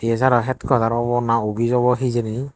TSR ow headquarter obo naa office obo hejani.